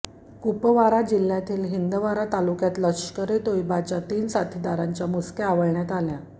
कुपवारा जिल्ह्यातील हिंदवारा तालुक्यात लष्कर ए तोयबाच्या तीन साथीदारांच्या मुसक्या आवळण्यात आल्या